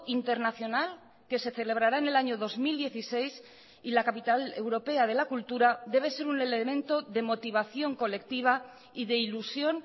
internacional que se celebrará en el año dos mil dieciséis y la capital europea de la cultura debe ser un elemento de motivación colectiva y de ilusión